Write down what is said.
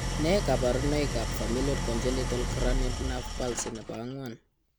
Nee kabarunoikab Familial Congenital cranial nerve palsy nebo ang'wan ?